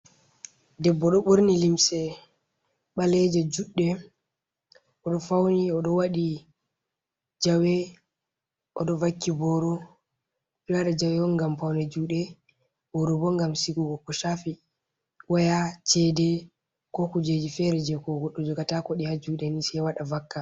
Debbo, do burni limse baleje judde, odo fauni odo wadi jawe, odo vakki boru, biduwada jawe on gam faune jude, boro bo gam sigugo ko shafi waya cede ko kujeji fere jekogo du juga tako di ha jude ni se wada vakka.